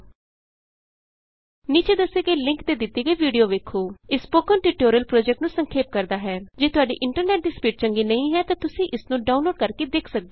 ਨੀਚੇ ਦੱਸੇ ਗਏ ਲਿੰਕ ਤੇ ਦਿਤੀ ਗਈ ਵੀਡੀਊ ਵੇਖੋ httpspoken tutorialorg What is a Spoken Tutorial ਇਹ ਸਪੋਕਨ ਟਿਯੂਟੋਰਿਅਲ ਪੋ੍ਜੈਕਟ ਨੂੰ ਸੰਖੇਪ ਕਰਦਾ ਹੈ ਜੇ ਤੁਹਾਡੇ ਇੰਟਰਨੈਟ ਦੀ ਸਪੀਡ ਚੰਗੀ ਨਹੀਂ ਹੈ ਤਾਂ ਤੁਸੀਂ ਇਸ ਨੂੰ ਡਾਊਨਲੋਡ ਕਰਕੇ ਦੇਖ ਸਕਦੇ ਹੋ